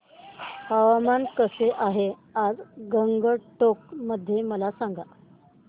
हवामान कसे आहे आज गंगटोक मध्ये मला सांगा